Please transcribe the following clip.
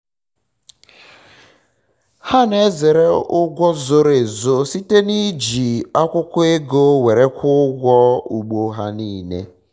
ha na-ezere ụgwọ zoro ezo site na iji akwụkwọ ego were kwụọ ụgwọ ugbo ha nile